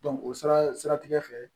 o siratigɛ fɛ